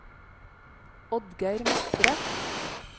Oddgeir Matre